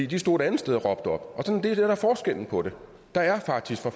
de stod et andet sted og råbte op og det er det der er forskellen på det der er faktisk